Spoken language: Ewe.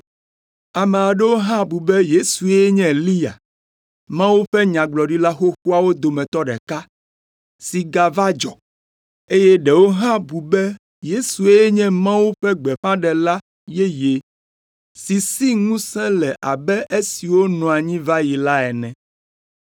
Ame aɖewo hã bu be Yesue nye Eliya, Mawu ƒe Nyagblɔɖila xoxoawo dometɔ ɖeka, si gava dzɔ, eye ɖewo hã bu be Yesue nye Mawu ƒe Gbeƒãɖela yeye si si ŋusẽ le abe esiwo nɔ anyi va yi la ene.